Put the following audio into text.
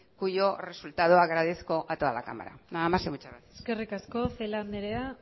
cuyo resultado agradezco a toda la cámara nada más y muchas gracias eskerrik asko celaá andrea